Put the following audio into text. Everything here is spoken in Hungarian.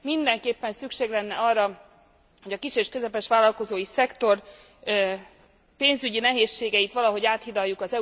Mindenképpen szükség lenne arra, hogy a kis és közepes vállalkozói szektor pénzügyi nehézségeit valahogy áthidaljuk.